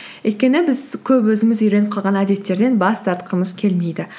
өйткені біз көп өзіміз үйреніп қалған әдеттерден бас тартқымыз келмейді